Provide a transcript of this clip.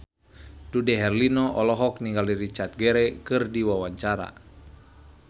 Dude Herlino olohok ningali Richard Gere keur diwawancara